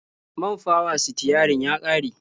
Man fawa-sitiyarin ya ƙare.